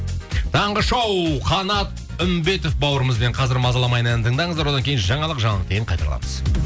таңғы шоу қанат үмбетов бауырымызбен қазір мазаламайын әнін тыңдаңыздар одан кейін жаңалық жаңалықтан кейін қайта ораламыз